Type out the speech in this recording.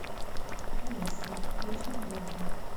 алиса вечер добрый